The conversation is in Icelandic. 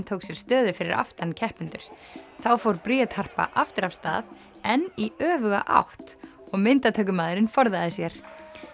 tók sér stöðu fyrir aftan keppendur þá fór Bríet Harpa aftur af stað en í öfuga átt og myndatökumaðurinn forðaði sér